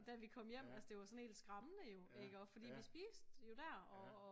Da vi kom hjem altså det var sådan helt skræmmende jo iggå fordi vi spiste jo der og